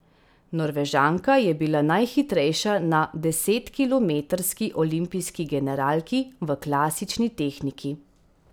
Norvežanka je bila najhitrejša na desetkilometrski olimpijski generalki v klasični tehniki.